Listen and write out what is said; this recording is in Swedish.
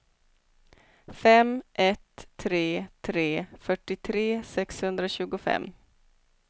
fem ett tre tre fyrtiotre sexhundratjugofem